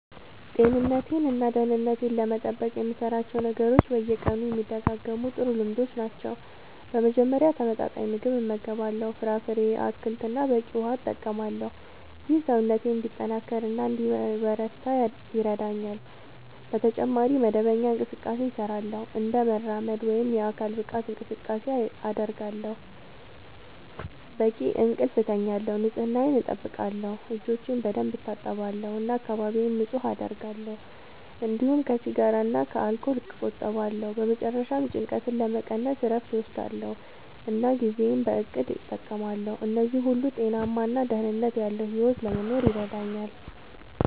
ጤንነቴን እና ደህንነቴን ለመጠበቅ የምሠራቸው ነገሮች በየቀኑ የሚደጋገሙ ጥሩ ልምዶች ናቸው። በመጀመሪያ ተመጣጣኝ ምግብ እመገባለሁ፣ ፍራፍሬ፣ አትክልት እና በቂ ውሃ እጠቀማለሁ። ይህ ሰውነቴን እንዲጠናከር እና እንዲበረታ ይረዳኛል። በተጨማሪ መደበኛ እንቅስቃሴ እሠራለሁ፣ እንደ መራመድ ወይም የአካል ብቃት እንቅስቃሴ አደርጋለሁ፣ በቂ እንቅልፍ እተኛለሁ፣ ንጽህናየን አጠብቃለሁ (እጆቼን በደንብ እታጠባለሁ እና አካባቢዬን ንጹህ አደርጋለሁ)፤እንዲሁም ከሲጋራ እና ከአልኮል እቆጠባለሁ። በመጨረሻ ጭንቀትን ለመቀነስ እረፍት እወስዳለሁ እና ጊዜዬን በእቅድ እጠቀማለሁ። እነዚህ ሁሉ ጤናማ እና ደህንነት ያለዉ ሕይወት ለመኖር ይረዳኛል።